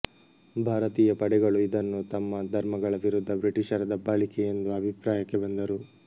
ಭಾರತೀಯ ಪಡೆಗಳು ಇದನ್ನು ತಮ್ಮ ಧರ್ಮಗಳ ವಿರುದ್ಧ ಬ್ರಿಟಿಷರ ದಬ್ಬಾಳಿಕೆ ಎಂದು ಅಭಿಪ್ರಾಯಕ್ಕೆ ಬಂದರು